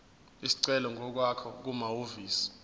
isicelo ngokwakho kumahhovisi